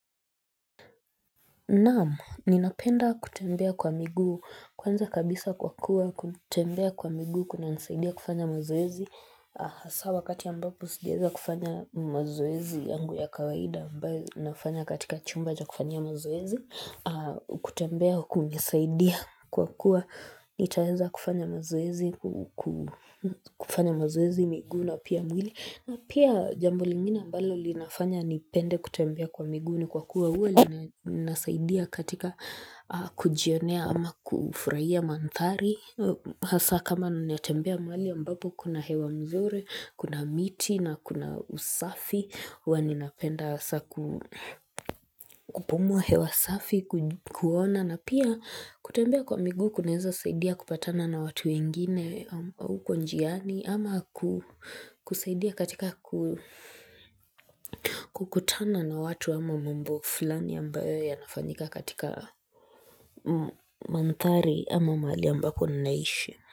Naam, ninapenda kutembea kwa miguu kwanza kabisa kwa kuwa kutembea kwa miguu kunanisaidia kufanya mazoezi Hasa wakati ya ambapo sijaeza kufanya mazoezi yangu ya kawaida ambao nafanya katika chumba cha kufanyia mazoezi kutembea kunanisaidia kwa kuwa nitaeza kufanya mazoezi kufanya mazoezi miguu na pia mwili. Na pia jambo lingine ambalo linafanya nipende kutembea kwa miguu ni kwa kuwa uwa linasaidia katika kujionea ama kufuraiha manthari asa kama nitembea mahali ambapo kuna hewa mzuri, kuna miti na kuna usafi huwa ninapenda asa kupumua hewa safi, kuona na pia kutembea kwa miguu kunaeza saidia kupatana na watu wengine au uko njiani ama kusaidia katika kukutana na watu ama mumbo fulani ambayo yanafanyika katika manthari ama mahali ambako ninaishi.